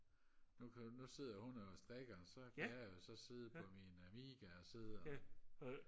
nu kan du nu sidder hun og strikker og så kan jeg jo så sidde på min Amiga og sidde og